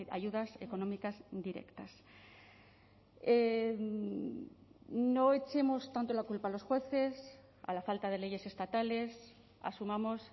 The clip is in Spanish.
ayudas económicas directas no echemos tanto la culpa a los jueces a la falta de leyes estatales asumamos